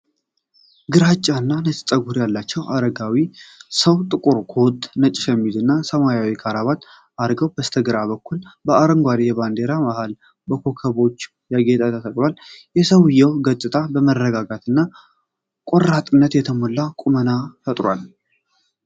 ግራጫና ነጭ ፀጉር ያላቸው አረጋዊ ሰው ጥቁር ኮት፣ ነጭ ሸሚዝ እና ሰማያዊ ክራባት አድርገዋል። በስተግራ በኩል አረንጓዴ የባንዲራ ማሃሉ በኮከቦች ያጌጠ ተሰቅሏል። የሰውየው ገጽታ በመረጋጋትና ቆራጥነት የተሞላ ቁመና ይፈጥራል።